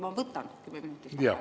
Ma võtan 10 minutit vaheaega.